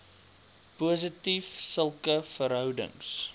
positief sulke verhoudings